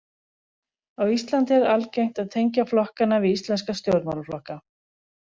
Á Íslandi er algengt að tengja flokkana við íslenska stjórnmálaflokka.